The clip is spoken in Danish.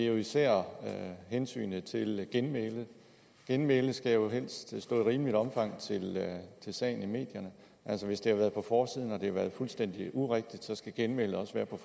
jo især hensynet til genmæle genmælet skal jo helst stå i rimeligt omfang til sagen i medierne altså hvis det har været på forsiden og har været fuldstændig urigtigt så skal genmælet også være på